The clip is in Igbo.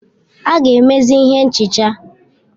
A ga-emezi ihe nchicha.